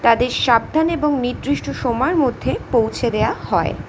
তাদের সাবধান ও নির্দির্ষ্ট সময়ে মধ্যে পৌঁছে দেওয়া হয়।